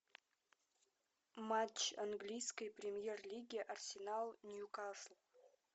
матч английской премьер лиги арсенал нью касл